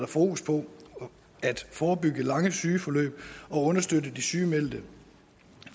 fokus på at forebygge lange sygeforløb og understøtte at de sygemeldte